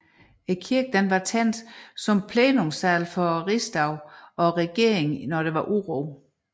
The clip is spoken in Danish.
Kirken var tænkt som plenumsal for riksdag og regering i urotider